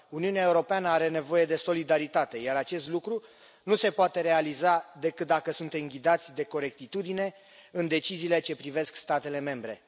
Uniunea Europeană are nevoie de solidaritate, iar acest lucru nu se poate realiza decât dacă suntem ghidați de corectitudine în deciziile ce privesc statele membre.